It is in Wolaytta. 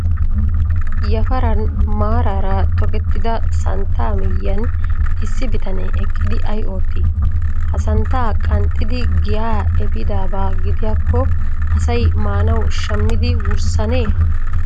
Yafaran maaraara tokettida santta miyyiyan issi bitane eqqidi ay oottii? Ha santta qanxxidi giyaa epiidaba gidiyaakko asay maanawu shammidi wurssanee?